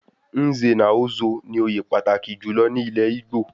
Nze na Ozo ní òye pàtàkì jùlọ ní ilé Igbo